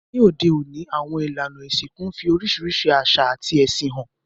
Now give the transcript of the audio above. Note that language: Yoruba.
Ní òde ọ̀ní, àwon ìlànà ìsìnkú n fi orísìrísi àsà àti ẹ̀sìn han